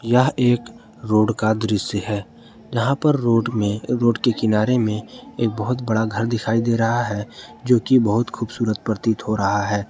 यह एक रोड का दृश्य है यहां पर रोड में रोड के किनारे में एक बहुत बड़ा घर दिखाई दे रहा है जो कि बहुत खूबसूरत प्रतीत हो रहा है।